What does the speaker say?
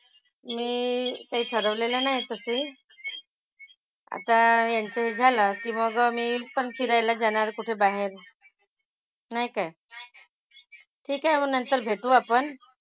मी काही ठरवलेलं नाही तशी. आता यांचं हे झालं की मग मी पण फिरायला जाणार कुठं बाहेर. नाही काय? ठीक आहे. मग नंतर भेटू आपण.